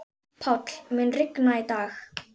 Páll, mun rigna í dag?